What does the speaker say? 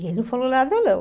E ele não falou nada, não.